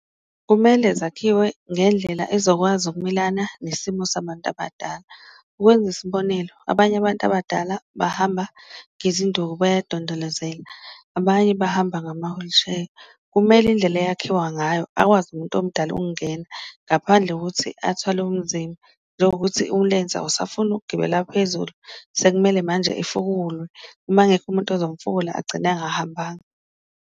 Kumele zakhiwe ngendlela ezokwazi ukumelana nesimo sabantu abadala ukwenza isibonelo, abanye abantu abadala bahamba ngezinduku bayadondolozela, abanye bahamba ngama-wheelchair. Kumele indlela eyakhiwa ngayo akwazi umuntu omdala ukungena ngaphandle kokuthi athwale umzimba, njengokuthi umlenze awusafuni ukugibela phezulu, sekumele manje efukulwe uma kungekho umuntu ozomfukula agcine engahambanga.